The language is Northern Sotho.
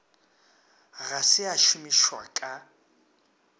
ga se a šomišwa ka